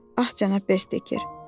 Ah, cənab Bersteker.